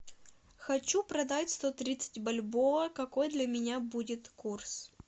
хочу продать сто тридцать бальбоа какой для меня будет курс